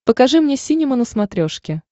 покажи мне синема на смотрешке